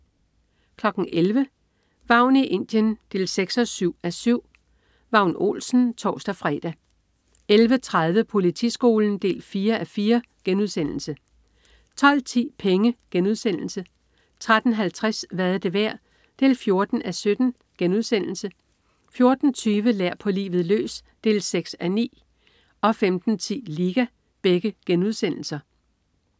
11.00 Vagn i Indien 6-7:7. Vagn Olsen (tors-fre) 11.30 Politiskolen 4:4* 12.10 Penge* 13.50 Hvad er det værd? 14:7* 14.20 Lær på livet løs 6:9* 15.10 Liga*